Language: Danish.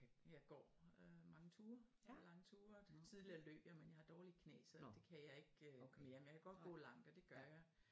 Jeg går øh mange ture lange tur tidligere løb jeg men jeg har dårlige knæ så det kan jeg ikke mere men jeg kan godt gå langt og det gør jeg